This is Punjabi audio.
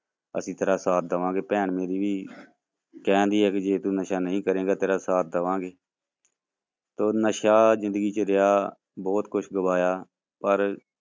ਅਸੀਂ ਤੇਰਾ ਸਾਥ ਦੇਵਾਂਗੇ, ਭੈਣ ਮੇਰੀ ਵੀ ਕਹਿੰਦੀ ਹੈ ਕਿ ਜੇ ਤੂੰ ਨਸ਼ਾ ਨਹੀਂ ਕਰੇਂਗਾ ਤੇਰਾ ਸਾਥ ਦੇਵਾਂਗੇੇ ਤੇ ਨਸ਼ਾ ਜ਼ਿੰਦਗੀ ਚ ਰਿਹਾ ਬਹੁਤ ਕੁਛ ਗਵਾਇਆ ਪਰ